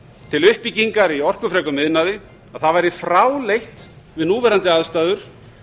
til uppbyggingar í orkufrekum iðnaði að það væri fráleitt við núverandi aðstæður